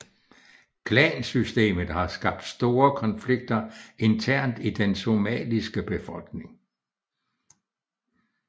Klansystemet har skabt store konflikter internt i den somaliske befolkning